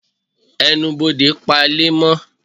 Ẹnubodè pa ile amò